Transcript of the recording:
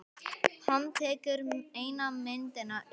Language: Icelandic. Hann tekur eina myndina upp.